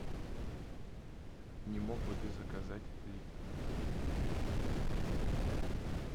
не мог бы ты заказать липтон